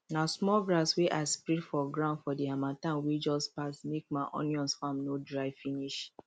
na small grass wey i spread for ground for the harmattan wey just pass make my onion farm no dry finish